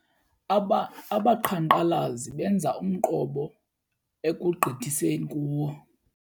Abaqhankqalazi benza umqobo ekugqitheseni kuwo.